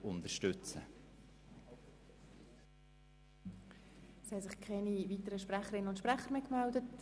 Es haben sich keine weiteren Sprecherinnen und Sprecher gemeldet.